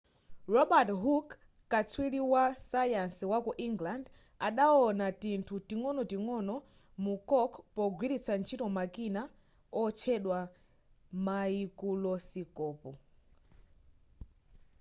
robert hooke katswiri wasayansi waku england adawona tinthu ting'onoting'ono mu cork pogwilitsa ntchito makina otchedwa maikulosikopu